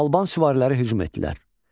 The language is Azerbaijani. Alban süvariləri hücum etdilər.